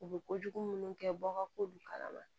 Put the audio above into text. U bɛ kojugu minnu kɛ bɔɔrɔ k'olu kala ma